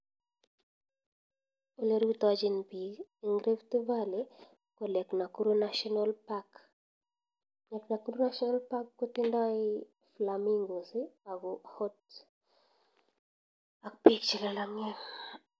Olerutachin bik ing rift valley ko lake nakuru national park eng national park kotindoi flamingoes ak peek che lalangen